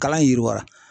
Kalan yiriwara